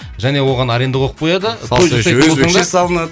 және оған аренда қойып қояды өзбекше салынады